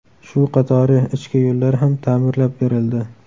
Shu qatori ichki yo‘llar ham ta’mirlab berildi.